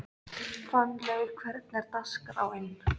Fannlaug, hvernig er dagskráin?